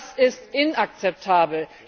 Das ist inakzeptabel!